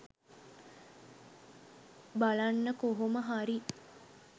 බලන්න කොහොමහරි